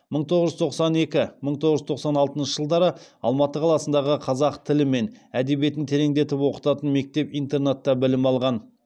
мың тоғыз жүз тоқсан екі мың тоғыз жүз тоқсан алтыншы жылдары алматы қаласындағы қазақ тілі мен әдебиетін тереңдетіп оқытатын мектеп интернатта білім алған